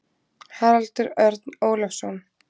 Haraldur Örn Ólafsson.